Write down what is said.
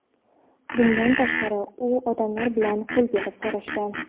Bundan tashqari, u odamlar bilan qo‘l berib so‘rashgan.